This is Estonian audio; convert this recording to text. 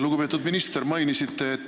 Lugupeetud minister!